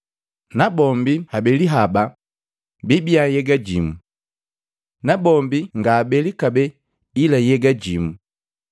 nabombi habeli haba bibia nhyega jimu. Na bombi ngaabele kabee ila nhyega jimu.